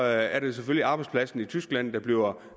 er det selvfølgelig arbejdspladserne i tyskland der bliver